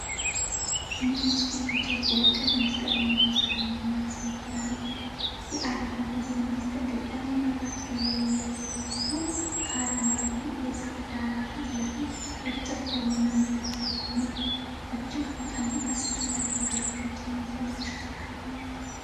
ነጭ የኢትዮጵያ ቀይ መስቀል ማኅበር አምቡላንስ መኪና ነው። የአደጋ ጊዜ ማስጠንቀቂያ መብራት በላዩ ላይ ያለ ሲሆን፣ ከአረንጓዴ የዛፍ ዳራ ፊት ለፊት እርጥብ በሆነ መሬት ላይ ቆሟል። እጅግ በጣም አስፈላጊ አገልግሎት የሚሰጥ ተሽከርካሪ ነው።